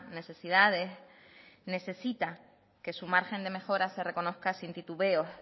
necesidades necesita que su margen de mejora se reconozca sin titubeos